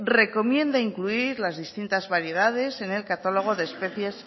recomienda incluir las distintas variedades en el catálogo de especies